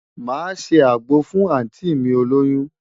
Màá ṣe àgbo fún àùntí mi olóyún.